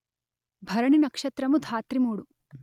భరణి నక్షత్రము ధాత్రిమూడు